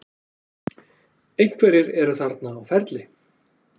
Einhverjir eru þarna á ferli.